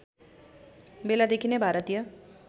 बेलादेखि नै भारतीय